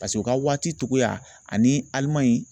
u ka waati cogoya ani Alimaɲi